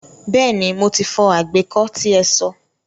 Bẹ́ẹ̀ni, mo ti fọ àgbékó tí ẹ so.